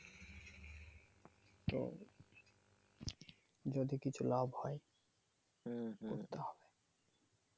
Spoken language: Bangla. যদি কিছু লাভ হয় করতে হবে ।